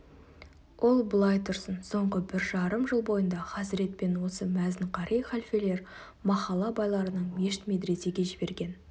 ол былай тұрсын соңғы бір жарым жыл бойында хазірет пен осы мәзін қари халфелер махалла байларының мешіт-медресеге жіберген